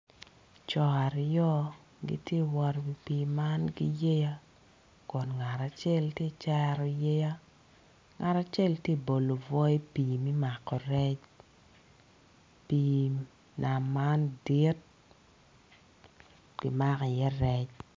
Co aryo gitye ka wot i wi pii man ki yeya kun ngat acel tye ka cero yeya ngat acel tye ka bolo obwo i pii me mako rec pii nam man dit kimako iye rec.